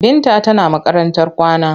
Binta tana makarantar kwana.